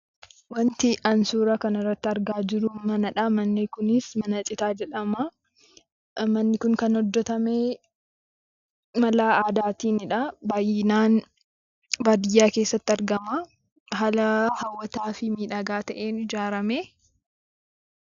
Wanti ani suura kanarratti argaa jiru manadha. Manni kunis mana citaa jedhama. Manni kun kan hojjetame mala aadaatiinidha. Baay'inaan baadiyyaa keessatti argama. Haala hawwataa fi miidhagaa ta'een ijaarame.